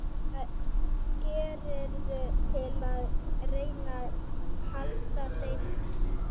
Hvað gerirðu til að reyna að halda þeim í skefjum?